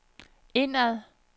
indad